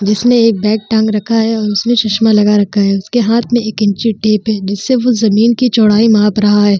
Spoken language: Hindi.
जिसने एक बैग टांग रखा है और उसने चस्मा लगा रखा है। उसके हाथ मे एक इंची टेप है। जिससे वो जमीन की चौड़ाई माप रहा है।